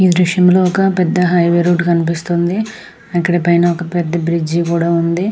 ఈ దృశ్యం లో ఒక పెద్ద హైవే రోడ్ కనిపిస్తుంది ఇక్కడ పైన ఒక పెద్ద బ్రిడ్జి కూడా ఉన్నది .